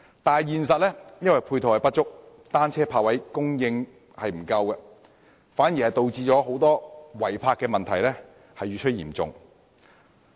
但實際上，由於配套不足，單車泊位供應短缺，反而導致違泊問題越趨嚴重。